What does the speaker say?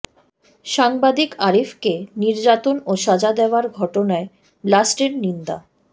সাংবাদিক আরিফকে নির্যাতন ও সাজা দেওয়ার ঘটনায় ব্লাস্টের নিন্দা